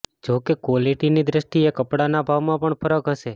જો કે ક્વોલિટીની દ્રષ્ટીએ કપડાના ભાવમાં પણ ફરક હશે